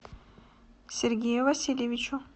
сергею васильевичу